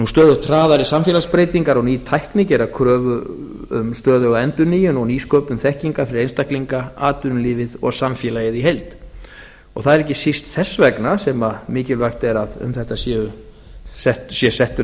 stöðugt hraðari samfélagsbreytingar og ný tækni gera kröfu um stöðuga endurnýjun og nýsköpun þekkingar fyrir einstaklinga atvinnulífið og samfélagið í heild og það er ekki síst þess vegna sem mikilvægt er að um þetta sé settur